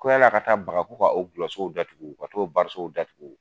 Ko yan'a' ka taa baga ko ka o dulɔsow datugu ka t'o sow datugu